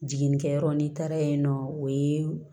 Jiginnikɛyɔrɔ n'i taara yen nɔ o ye